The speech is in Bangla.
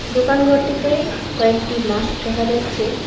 দোকান ঘরটিতে কয়েকটি মাস্ক দেখা যাচ্ছে।